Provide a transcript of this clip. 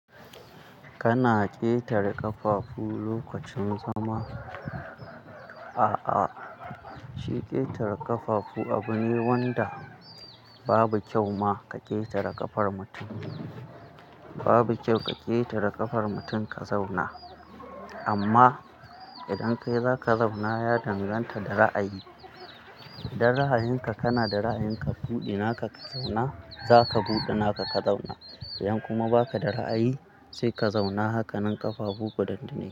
Kana ƙetare ƙafafu lokacin zama, a'a, shi ƙetare ƙafafu abu ne wanda babu kyau ma ka ƙetare ƙafar mutum. Babu kyau ka ƙetare ƙafar mutun ka zauna. Amma, idan kai za ka zauna ya danganta da ra'ayi. Dan ra'ayinka kana da ra'ayinka buɗe naka ka zauna za ka buɗe naka ka zauna. Idan kuma ba ka da ra'ayi sai ka zauna hakanan ƙafafu kudan dune.